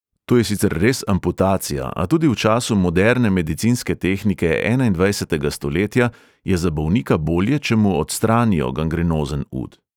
To je sicer res amputacija, a tudi v času moderne medicinske tehnike enaindvajsetega stoletja je za bolnika bolje, če mu odstranijo gangrenozen ud ...